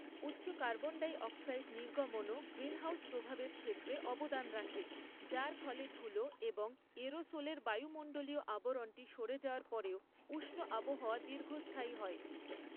উচ্চ carbon dioxide নির্গমনও greenhouse প্রভাবের ক্ষেত্রে অবদান রাখে, যার ফলে ধুলো এবং এরোসোলের বায়ুমণ্ডলীয় আবরণটি সরে যাওয়ার পরেও উষ্ণ আবহাওয়া দীর্ঘস্থায়ী হয়।